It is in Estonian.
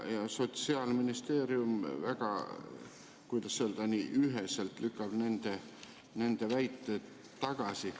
Sotsiaalministeerium, kuidas öelda, lükkab üheselt nende väited tagasi.